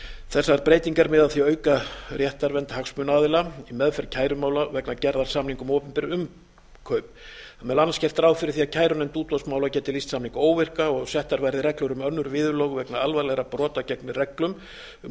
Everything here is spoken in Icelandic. þessar breytingar miða að því að auka réttarvernd hagsmuna aðila í meðferð kærumála vegna gerð samninga um opinber innkaup þar er meðal annars gert ráð fyrir að kærunefnd útboðsmála geti lýst samninga óvirka og settar verði reglur um önnur viðurlög vegna alvarlegra brota gegn reglum um